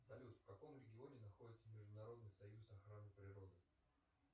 салют в каком регионе находится международный союз охраны природы